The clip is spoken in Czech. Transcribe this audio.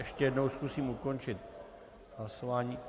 Ještě jednou zkusím ukončit hlasování.